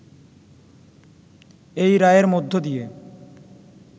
এই রায়ের মধ্য দিয়ে